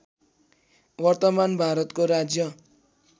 वर्तमान भारतको राज्य